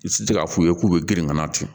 I tɛ se k'a f'u ye k'u bɛ girin kana to